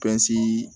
Pisi